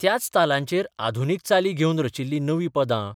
त्याच तालांचेर आधुनीक चाली घेवन रचिल्लीं नवीं पदां.